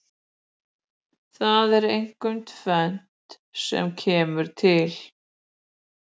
Það er einkum tvennt sem kemur til.